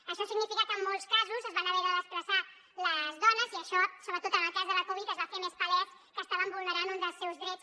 això significa que en molts casos es van haver de desplaçar les dones i això sobretot en el cas de la covid va fer més palès que estàvem vulne·rant un dels seus drets